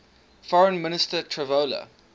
foreign minister tavola